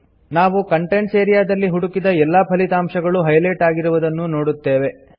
ನಾವು contents area ದಲ್ಲಿ ಹುಡುಕಿದ ಎಲ್ಲಾ ಫಲಿತಾಂಶಗಳೂ ಹೈಲೈಟ್ ಆಗಿರುವುದನ್ನು ನೋಡುತ್ತೇವೆ